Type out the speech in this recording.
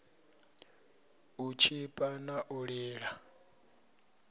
u tshipa na u lila